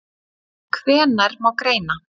Hvenær má greina?